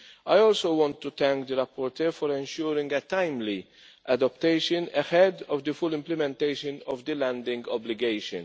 I also want to thank the rapporteur for ensuring a timely adaptation ahead of the full implementation of the landing obligation.